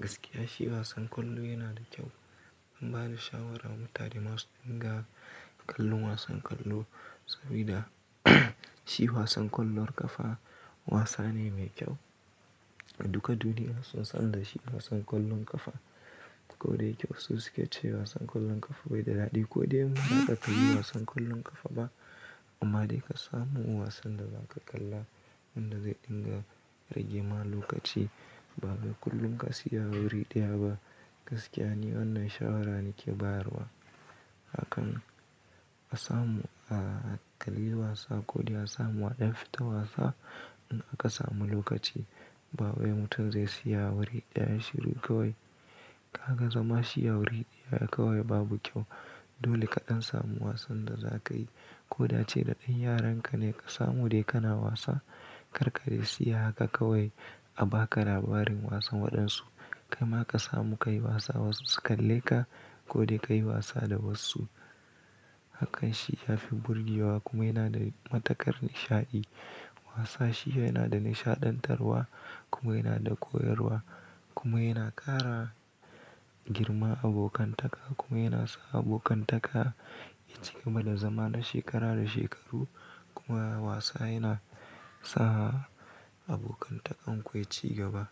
Gaskiya shi wasan kwallo yana da kyau. Ban ba da shawara ma tare masu dinga kallon wasan kwallo sabida shi wasan kwallon kafa wasa ne mai kyau. A duka duniya sun san da shi wasan kwallon kafa. Ko da yake wa suke cewa wasan kwallon kafa bai da daɗi ko dai mu ba za ka iya wasan kwallon kafa ba. Amma dai ka samu wasan da za ka kalla wanda zai dinga rage ma lokaci ba wai kullum ka tsaya wuri ɗaya ba. Gaskiya ne wannan shawara nake bayarwa. Hakan a samu a kalli wasa ko dai a samu waɗansu fita wasa in aka samu lokaci. Ba wai mutum zai tsaya wuri ɗaya shiru kawai. Kaga zama shi a wuri ɗaya kawai babu kyau. Dole kaɗan samu wasan da za ka yi ko da ce da ɗan yaran ka ne ka samu dai kana wasa karka dai tsaya haka kawai a ba ka labarin wasan waɗansu. Kai ma ka samu ka yi wasa wasu su kalle ka ko dai ka yi wasa da wasu. Hakan shi ya fi burgewa kuma yana da matuƙar nishaɗi. Wasa shi yana da nishaɗantarwa kuma yana da koyarwa kuma yana ƙara girma abokantaka kuma yana sa abokantaka ya cigaba da zama na shekara da shekaru kuma wasa yana sa abokantakan ku ya ci gaba.